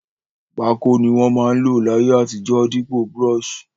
Pákò ni won ma n lò láyé àtijó dípò brush